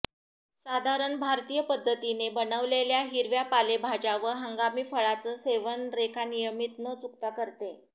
साधारण भारतीय पद्धतीने बनवलेल्या हिरव्या पालेभाज्या व हंगामी फळाचं सेवन रेखा नियमित न चुकता करते